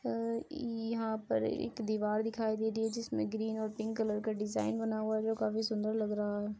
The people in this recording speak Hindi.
अ यहाँ पर एक दीवार दिखाई दे रही है जिसमें ग्रीन और पिंक कलर का डिजाइन बना हुआ है जो काफी सुंदर लग रहा है।